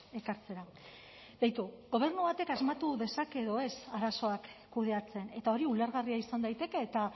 ekartzera beitu gobernu batek asmatu dezake edo ez arazoak kudeatzen eta hori ulergarria izan daiteke eta